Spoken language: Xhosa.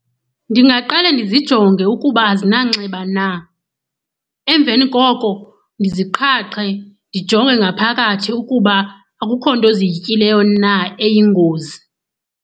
Ndingaqale ndizijonge ukuba azinanxeba na. Emveni koko ndiziqhaqhe, ndijonge ngaphakathi ukuba akukho nto ziyityileyo na eyingozi.